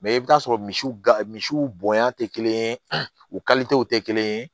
i bɛ taa sɔrɔ misiw gɛrɛ misiw bonya tɛ kelen ye u tɛ kelen ye